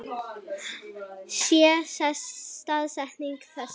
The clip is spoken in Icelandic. Hér sést staðsetning þess.